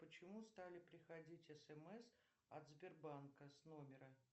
почему стали приходить смс от сбербанка с номера